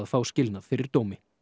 fá skilnað fyrir dómi